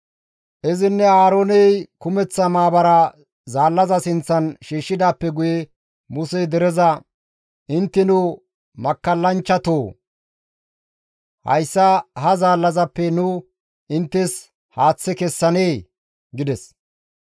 Izinne Aarooney kumeththa maabaraa zaallaza sinththan shiishshidaappe guye Musey dereza, «Intteno makkallanchchatoo! Hayssa ha zaallazappe nu inttes haaththe kessanee!» gides.